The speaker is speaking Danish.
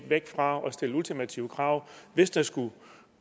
væk fra at stille ultimative krav hvis der skulle